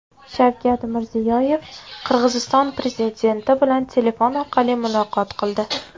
Shavkat Mirziyoyev Qirg‘iziston prezidenti bilan telefon orqali muloqot qildi.